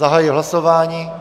Zahajuji hlasování.